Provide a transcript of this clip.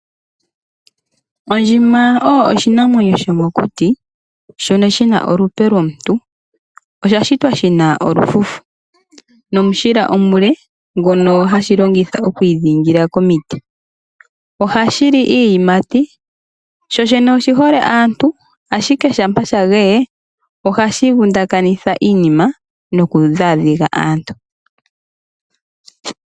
Ondjima oyo oshinamwenyo shomokuti noshina olupe lomuntu, osha shitwa shina olufufu nomushila omule ngono hashi longitha oku idhingila nago komiti. Oha shi li iiyimati, sho shene oshi hole aantu ashike ngele osha geye ohashi vu ndakanitha iinima noku dha dhiga aantu.